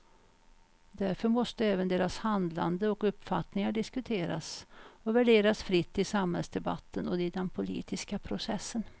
Därför måste även deras handlande och uppfattningar diskuteras och värderas fritt i samhällsdebatten och i den politiska processen.